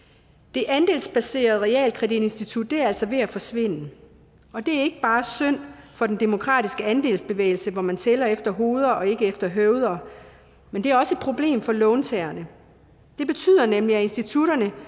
det andelsbaserede realkreditinstitut er altså ved at forsvinde og det er bare synd for den demokratiske andelsbevægelse hvor man tæller efter hoveder og ikke efter høveder men det er også et problem for låntagerne det betyder nemlig at institutterne